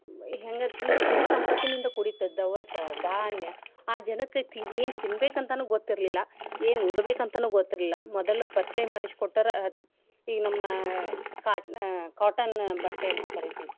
ಹೆಂಗ ಇತ್ತ ಅಂದ್ರ ಸಿರಿ ಸಂಪತ್ತಿನಿಂದ ಕೂಡಿತ್ತು ದವಸ, ಧಾನ್ಯ ಆ ಜನಕ್ಕ ತಿ~ ಏನ್ ತಿನ್ಬೆಕಂತ ಅಂತಾನು ಗೊತ್ತಿರ್ಲಿಲ್ಲಾ, ಏನ್ ಉಡಬೇಕ ಅಂತಾನು ಗೊತ್ತಿರ್ಲಿಲ್ಲಾ. ಮೊದಲು ಪರಚಯ ಮಾಡಿಸಿಕೊಟ್ಟೋವ್ರ ಈಗ ನಮ್ಮ ca~ cotton ಬಟ್ಟೆ ಅಂತ ಕರಿತಿವಿ.